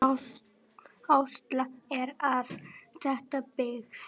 Áætlað er að þétta byggð.